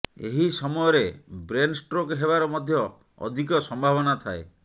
ଏହି ସମୟରେ brain stroke ହେବାର ମଧ୍ୟ ଅଧିକ ସମ୍ଭାବନା ଥାଏ